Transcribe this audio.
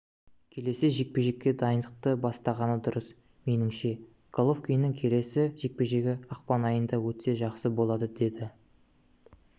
келесі жекпе-жекке дайындықты бастағаны дұрыс меніңше головкиннің келесі жекпе-жегі ақпан айында өтсе жақсы болады деді